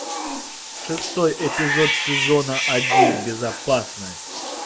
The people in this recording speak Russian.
шестой эпизод сезона один безопасность